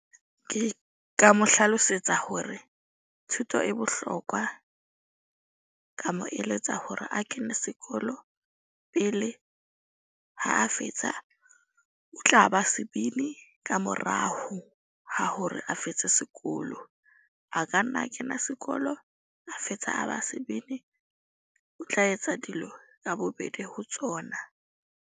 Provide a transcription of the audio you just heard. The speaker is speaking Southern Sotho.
Ke ka mo hlalosetsa hore thuto e bohlokwa. Ka mo eletsa hore a kene sekolo pele ha a fetsa, o tla ba sebini ka morao ha hore a fetse sekolo. A ka nna a kena sekolo, a fetsa a ba sebini. O tla etsa dilo ka bobedi ho tsona.